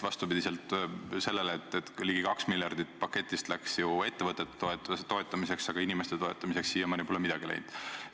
Vastupidi sellele, et ligi 2 miljardit paketist läks ettevõtete toetamiseks, aga inimeste toetamiseks pole siiamaani midagi läinud.